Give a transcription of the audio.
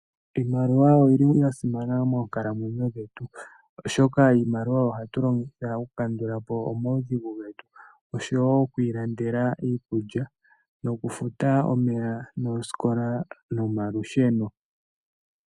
Iimaliwa oyi li ya simana moonkalamwenyo dhetu, oshoka iimaliwa oyo hatu longitha okukandula po omaudhigu getu osho wo oku ilandela iikulya nokufuta omeya noosikola nomalusheno.